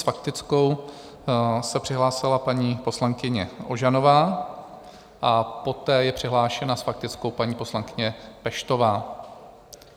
S faktickou se přihlásila paní poslankyně Ožanová a poté je přihlášena s faktickou paní poslankyně Peštová.